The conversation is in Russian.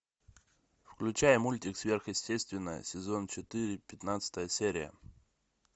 включай мультик сверхъестественное сезон четыре пятнадцатая серия